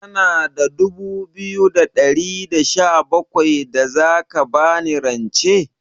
Kana da dubu biyu da ɗari da sha bakwai da za ka ba ni rance?